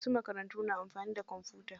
Wasu makarantun na amfani da kwamfuta.